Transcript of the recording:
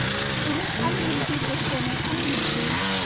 इन्हीं अनगिनती पैसों में अनगिनती